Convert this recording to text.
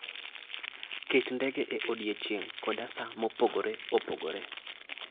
Ket ndege e odiechieng' kod sa mopogore opogore.